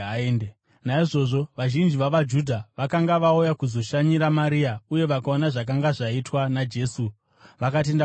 Naizvozvo vazhinji vavaJudha vakanga vauya kuzoshanyira Maria, uye vaona zvakanga zvaitwa naJesu, vakatenda kwaari.